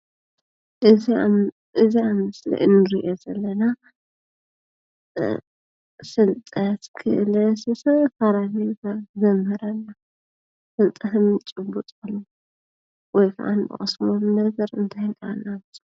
እዚ ኣብ ምስሊ እንሪኦ ዘለና ፍልጠት፣ ክእለት ዝተፈላለዩ ነገራት ዘምህረና ፣ ፍልጠት እንጭብጠሉ ወይ ከዓ ንቐስመሉ ነገር እንታይ እንዳበልና ንፅውዖ?